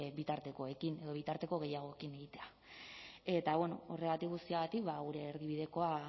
bitartekoekin edo bitarteko gehiagorekin egitea eta horregatik guztiagatik gure erdibidekoa